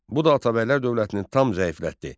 Bu da Atabəylər dövlətini tam zəiflətdi.